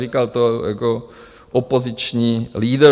Říkal to jako opoziční lídr.